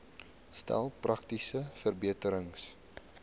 stel praktiese verbeterings